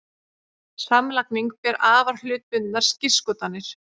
Samlagning ber afar hlutbundnar skírskotanir.